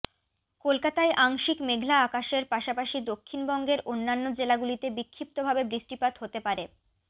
কলকাতায় আংশিক মেঘলা আকাশের পাশাপাশি দক্ষিণবঙ্গের অন্যান্য জেলাগুলিতে বিক্ষিপ্ত ভাবে বৃষ্টিপাত হতে পারে